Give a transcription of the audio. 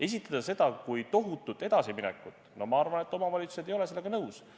Esitada seda kui tohutut edasiminekut, no ma arvan, et omavalitsused ei ole sellega nõus.